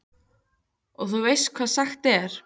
Og þú veist hvað sagt er?